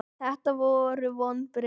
Þetta voru vonbrigði.